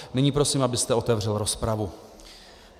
Nyní prosím, abyste otevřel rozpravu.